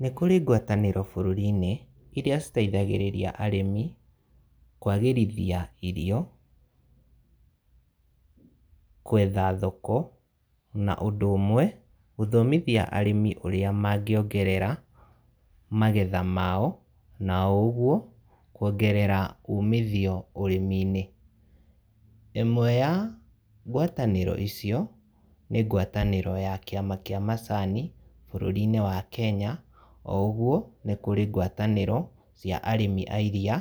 Nĩ kũrĩ ngwatanĩro bũrũrinĩ, iria citeithagĩrĩria arĩmi, kwagĩrithia irio, gwetha thoko, na ũndũ ũmwe gũthomithia arĩmi ũrĩa mangĩongerera magetha mao, na o ũguo, kuongerera umithio ũrĩminĩ. Ĩmwe ya ngwatanĩro icio, nĩ ngwatanĩro ya kiama kia macani, bũrũrinĩ wa Kenya, o ũguo, nĩkũrĩ ngwatanĩro, cia arĩmi airiia,